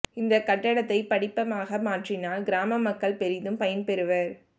இந்தக் கட்டடத்தை படிப்பகமாக மாற்றினால் கிராம மக்கள் பெரிதும் பயன்பெறுவா்